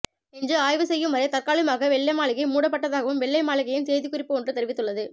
என்று ஆய்வு செய்யும் வரை தற்காலிகமாக வெள்ளை மாளிகை மூடப்பட்டதாகவும் வெள்ளை மாளிகையின் செய்திக்குறிப்பு ஒன்று தெரிவித்துள்ளது